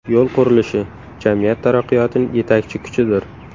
Yo‘l qurilishi – jamiyat taraqqiyotining yetakchi kuchidir.